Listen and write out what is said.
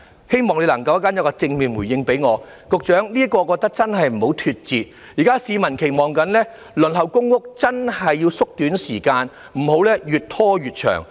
局長，我覺得這方面真的不要脫節，因為現時市民正在期望着，所以輪候公屋的時間真是要縮短，不要越拖越長。